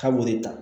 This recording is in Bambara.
K'a b'o de ta